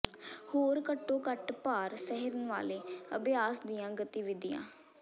ਹੋਰ ਘੱਟੋ ਘੱਟ ਭਾਰ ਸਹਿਣ ਵਾਲੇ ਅਭਿਆਸ ਦੀਆਂ ਗਤੀਵਿਧੀਆਂ